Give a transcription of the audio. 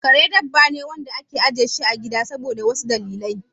Kare dabba ne da ake ajiye shi a gida saboda wasu dalilai.